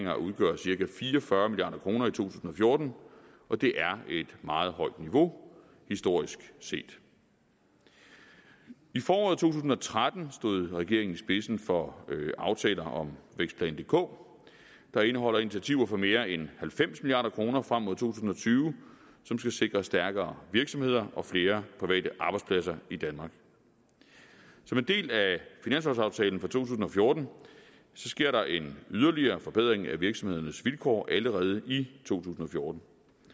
at udgøre cirka fire og fyrre milliard kroner i to tusind og fjorten og det er et meget højt niveau historisk set i foråret to tusind og tretten stod regeringen i spidsen for aftaler om vækstplan dk der indeholder initiativer for mere end halvfems milliard kroner frem mod to tusind og tyve som skal sikre stærkere virksomheder og flere private arbejdspladser i danmark som en del af finanslovsaftalen for to tusind og fjorten sker der en yderligere forbedring af virksomhedernes vilkår allerede i to tusind og fjorten